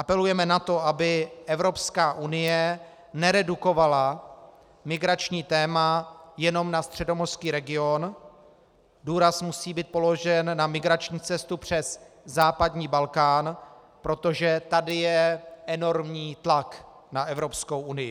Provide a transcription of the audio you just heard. Apelujeme na to, aby Evropská unie neredukovala migrační téma jenom na středomořský region, důraz musí být položen na migrační cestu přes západní Balkán, protože tady je enormní tlak na Evropskou unii.